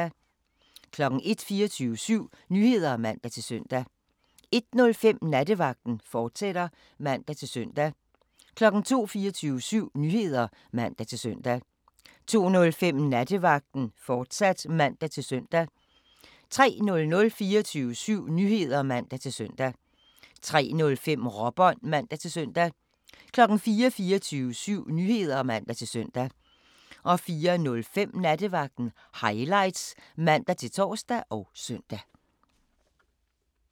01:00: 24syv Nyheder (man-søn) 01:05: Nattevagten, fortsat (man-søn) 02:00: 24syv Nyheder (man-søn) 02:05: Nattevagten, fortsat (man-søn) 03:00: 24syv Nyheder (man-søn) 03:05: Råbånd (man-søn) 04:00: 24syv Nyheder (man-søn) 04:05: Nattevagten Highlights (man-tor og søn)